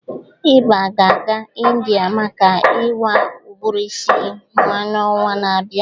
Ịbe ga-aga India maka ịwa ụbụrụ isi yan'ọnwa na-abịa